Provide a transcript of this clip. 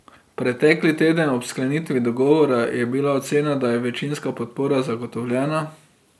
Preteki teden, ob sklenitvi dogovora, je bila ocena, da je večinska podpora zagotovljena.